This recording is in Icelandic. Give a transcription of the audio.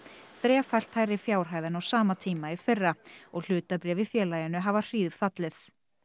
þrefalt hærri fjárhæð en á sama tíma í fyrra og hlutabréf í félaginu hafa hríðfallið